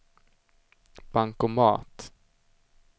bankomat